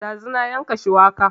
Ɗazu na yanka shuwaka